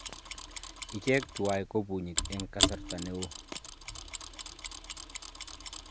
ichek tuwai ko punyik eng kasarta neo